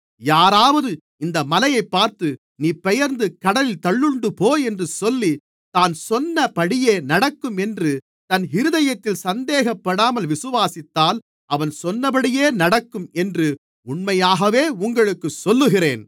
யாராவது இந்த மலையைப் பார்த்து நீ பெயர்ந்து கடலில் தள்ளுண்டுபோ என்று சொல்லி தான் சொன்னபடியே நடக்கும் என்று தன் இருதயத்தில் சந்தேகப்படாமல் விசுவாசித்தால் அவன் சொன்னபடியே நடக்கும் என்று உண்மையாகவே உங்களுக்குச் சொல்லுகிறேன்